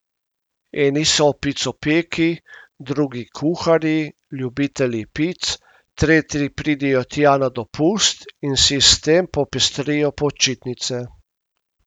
Eni so picopeki, drugi kuharji, ljubitelji pic, tretji pridejo tja na dopust in si s tem popestrijo počitnice.